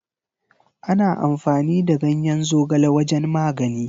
Ana amfani da ganyen zogale wajen magani.